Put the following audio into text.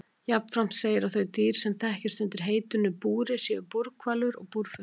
Jafnframt segir að þau dýr sem þekkist undir heitinu búri séu búrhvalur og búrfiskur.